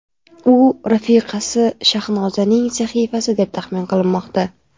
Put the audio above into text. U rafiqasi Shahnozaning sahifasi deb taxmin qilinmoqda.